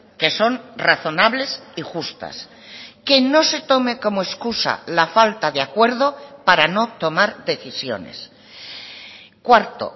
que son razonables y justas que no se tome como excusa la falta de acuerdo para no tomar decisiones cuarto